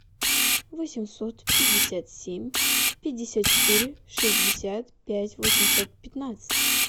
восемьсот пятьдесят семь пятьдесят четыре шестьдесят пять восемьсот пятнадцать